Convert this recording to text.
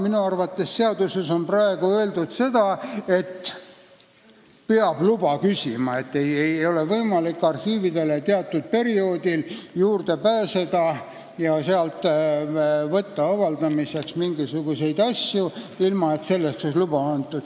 Minu arvates on praegu seaduses öeldud, et peab luba küsima – arhiividele ei ole võimalik teatud perioodil juurde pääseda ja sealt avaldamiseks mingisuguseid asju võtta, ilma et selleks on luba antud.